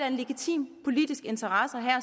en legitim politisk interesse at